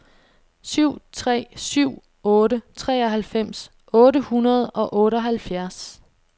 syv tre syv otte treoghalvfems otte hundrede og otteoghalvfjerds